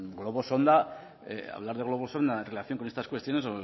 globos sonda hablar de globos sonda en relación con estas cuestiones